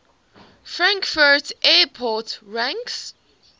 frankfurt airport ranks